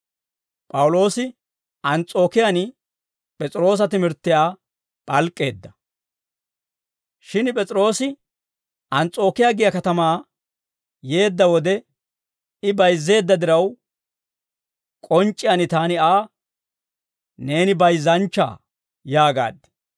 Shin P'es'iroosi Ans's'ookiyaa giyaa katamaa yeedda wode, I bayizzeedda diraw, k'onc'c'iyaan taani Aa, «Neeni bayizzanchchaa» yaagaad.